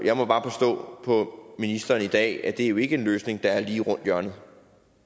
jeg må bare forstå på ministeren i dag at det jo ikke er en løsning der er lige rundt om hjørnet